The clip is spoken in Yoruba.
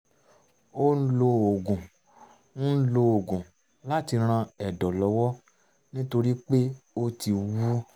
ó ń lo oògùn ń lo oògùn láti ran ẹ̀dọ̀ lọ́wọ́ nítorí pé ó ti wú